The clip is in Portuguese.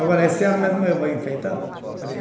Agora, esse ano mesmo eu vou enfeitar.